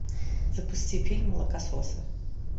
запусти фильм молокососы